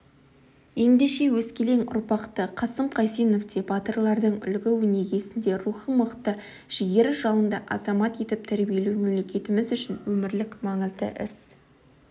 ендеше өскелең ұрпақты қасым қайсеновтей батырлардың үлгі-өнегесінде рухы мықты жігері жалынды азамат етіп тәрбиелеу мемлекетіміз үшін өмірлік маңызды іс